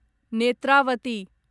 Netravati